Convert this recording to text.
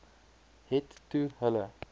het toe hulle